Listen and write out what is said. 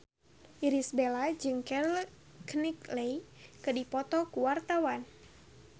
Irish Bella jeung Keira Knightley keur dipoto ku wartawan